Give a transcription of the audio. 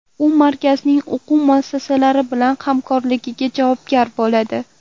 U markazning o‘quv muassasalari bilan hamkorligiga javobgar bo‘ladi.